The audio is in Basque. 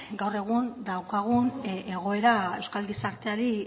gaur egun daukagun egoera euskal gizarteari